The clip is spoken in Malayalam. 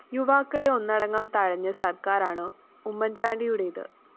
യുവാക്കളെ ഒന്നടങ്കം തഴഞ്ഞ സര്‍ക്കാരാണ് ഉമ്മന്‍ചാണ്ടിയുടെത്